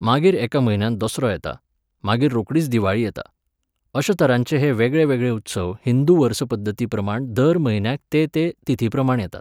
मागीर एका म्हयन्यान दसरो येता, मागीर रोकडीच दिवाळी येता. अश्या तरांचे हे वेगळेवेगळे उत्सव हिंदू वर्सपद्दतीप्रमाण दर म्हयन्याक ते ते तिथीप्रमाण येतात